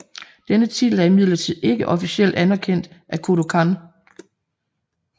Denne titel er imidlertid ikke officielt anerkendt af Kodokan